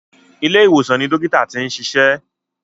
Ilé ìwòsàn ni àwọn dókítà ti ń ṣiṣẹ́.